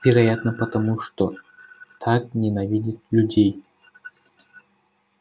вероятно потому что так ненавидит людей